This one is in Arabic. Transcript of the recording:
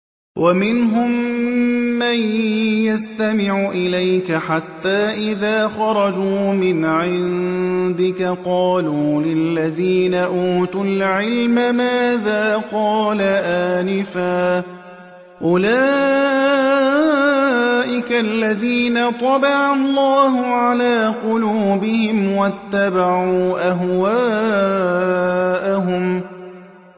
وَمِنْهُم مَّن يَسْتَمِعُ إِلَيْكَ حَتَّىٰ إِذَا خَرَجُوا مِنْ عِندِكَ قَالُوا لِلَّذِينَ أُوتُوا الْعِلْمَ مَاذَا قَالَ آنِفًا ۚ أُولَٰئِكَ الَّذِينَ طَبَعَ اللَّهُ عَلَىٰ قُلُوبِهِمْ وَاتَّبَعُوا أَهْوَاءَهُمْ